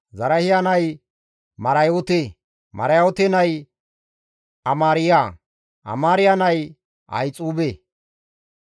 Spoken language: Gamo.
Zarahiya nay Marayoote; Marayoote nay Amaariya; Amaariya nay Ahixuube;